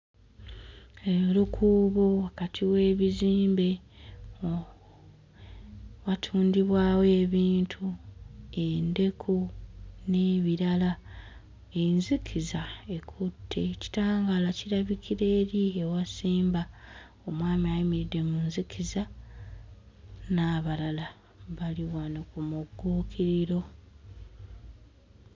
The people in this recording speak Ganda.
Erukuubo wakati w'ebizimbe uh watundibwawo ebintu endeku n'ebirala enzikiza ekutte kitangaala kirabikira eri ewasemba omwami ayimiridde mu nzikiza n'abalala bali wano ku mugguukiriro.